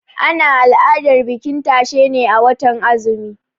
Ana al'adar bikin tashe ne a watan azumi.